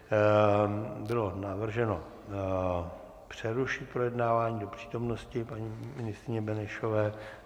Bylo navrženo přerušit projednávání do přítomnosti paní ministryně Benešové.